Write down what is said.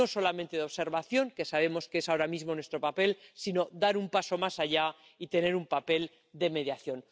no solamente de observación, que sabemos que es ahora mismo nuestro papel, sino dar un paso más allá y tener un papel de mediación.